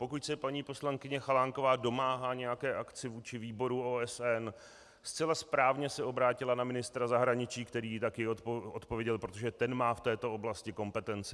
Pokud se paní poslankyně Chalánková domáhá nějaké akce vůči výboru OSN, zcela správně se obrátila na ministra zahraničí, který jí také odpověděl, protože ten má v této oblasti kompetenci.